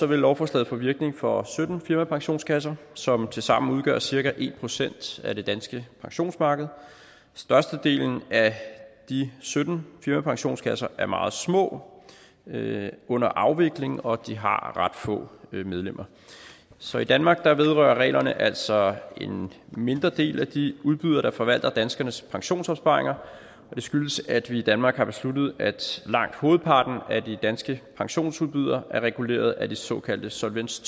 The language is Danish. vil lovforslaget få virkning for sytten firmapensionskasser som tilsammen udgør cirka en procent af det danske pensionsmarked størstedelen af de sytten firmapensionskasser er meget små og under afvikling og de har ret få medlemmer så i danmark vedrører reglerne altså en mindre del af de udbydere der forvalter danskernes pensionsopsparinger og det skyldes at vi i danmark har besluttet at langt hovedparten af de danske pensionsudbydere er reguleret af de såkaldte solvens